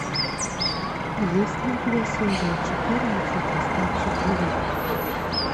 есть ли у тебя серия четырнадцать остаться в живых